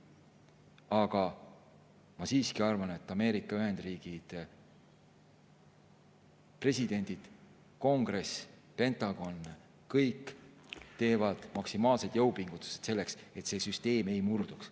Aga ma siiski arvan, et Ameerika Ühendriigid, presidendid, kongress, Pentagon – kõik teevad maksimaalseid jõupingutusi selleks, et see süsteem ei murduks.